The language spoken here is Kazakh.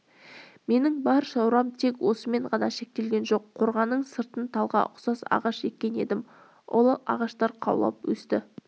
менің бар шаруам тек осымен ғана шектелген жоқ қорғанның сыртына талға ұқсас ағаш еккен едім ол ағаштар қаулап өсті